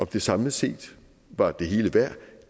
det samlet set var det hele værd